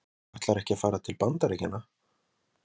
Höskuldur Kári: Þú ætlar ekki að fara til Bandaríkjanna?